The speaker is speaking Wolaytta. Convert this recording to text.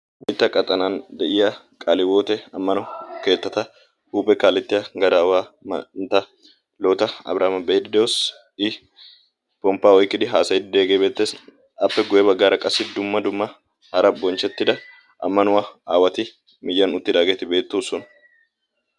wolaytta qaxanan de'iya qaale hiwote ammano kettata huuphe kaalettiya gadaawaa manta boota abrihaama be'iiddi de'oos. I pompa oyiqqidi haasayiidi diyaagee beetees. appe guye bagaara qassi dumma dumma hara bonchetida amanuwa aawati miyyiyan uttidaageti beetoosona.